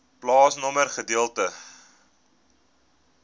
plaasnommer gedeelte